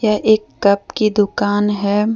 एक कप की दुकान है।